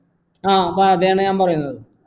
ആ അതേയെന്ന ഞാൻ പറയുന്നേ